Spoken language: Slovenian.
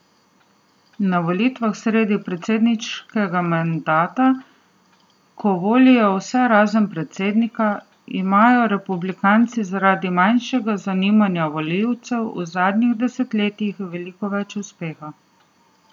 Na volitvah sredi predsedniškega mandata, ko volijo vse razen predsednika, imajo republikanci zaradi manjšega zanimanja volivcev v zadnjih desetletjih veliko več uspeha.